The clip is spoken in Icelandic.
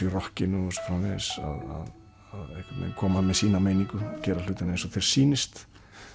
í rokkinu og svo framvegis að koma með sína meiningu og gera hlutina eins og þér sýnist